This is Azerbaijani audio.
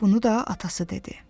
Bunu da atası dedi.